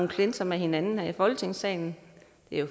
clinch med hinanden i folketingssalen